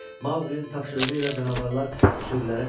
Maqlənin tapşırığı ilə canavarlar sürülərə təpinir.